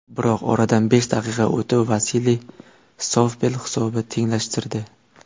Biroq oradan besh daqiqa o‘tib Vasiliy Sovpel hisobni tenglashtirdi.